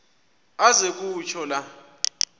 aze kutsho la